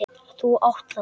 Þú átt það.